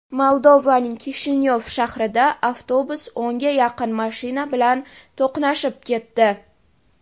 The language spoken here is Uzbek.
Moldovaning Kishinyov shahrida avtobus o‘nga yaqin mashina bilan to‘qnashib ketdi.